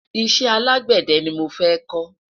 iṣẹ alágbède ní mọ fẹ ko